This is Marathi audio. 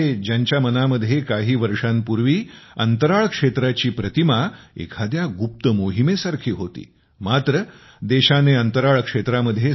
ज्यांच्या मनामध्ये काही वर्षांपूर्वी अंतराळ क्षेत्राची प्रतिमा एखाद्या गुप्त मोहिमेसारखी होती तेच हे युवक आज अंतराळ क्षेत्रामध्ये काम करीत आहेत